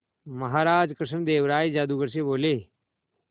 महाराज कृष्णदेव राय जादूगर से बोले